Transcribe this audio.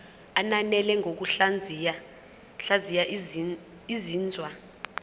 ananele ngokuhlaziya izinzwa